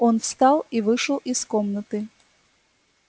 он встал и вышел из комнаты